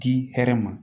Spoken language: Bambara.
Di hɛrɛ ma